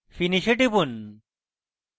finish এ টিপুন